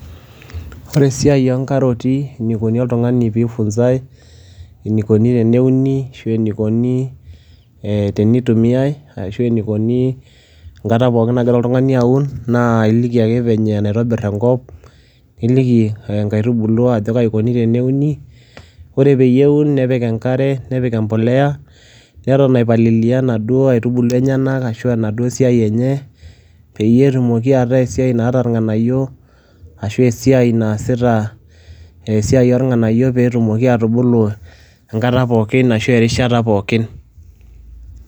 ore esiai oo nkaroti eneikoni oltungani pee eifunsae, enikoni teneuni ashu enikoni tenitumiae ashu enikoni. enkata pookin nagira oltungani aun. naa iliki ake venye naitobir enkop. niliki nkaitubulu ajo kaji ikoni teneuni. ore peyieu nepik enkare, nepik empuliya. neton aipalilia inaduoo aitubulu enyenak ashu inaduo siai enye .peyie etumoki ata esiai naata irnganayio ashu esiai naasita. esiai oornganyio pee etumoki atubulu enkata pookin asshu erishata pookin.